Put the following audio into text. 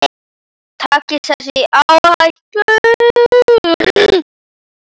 Takist þessi áætlun